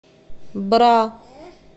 бра